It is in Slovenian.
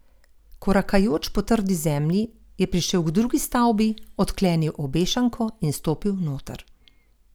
Korakajoč po trdi zemlji, je prišel k drugi stavbi, odklenil obešanko in stopil noter.